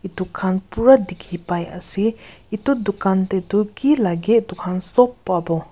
dukaan pura dekhi pai ase etu dukan teh tu ki lage sop pabo.